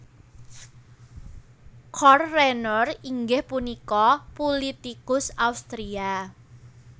Karl Renner inggih punika pulitikus Austria